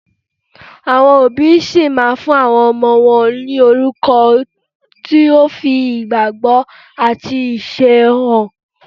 Àwọn òbí ṣì máa fún àwọn ọmọ wọn ní orúkọ tó fi ìgbàgbọ́ àti iṣẹ́ ẹbí hàn.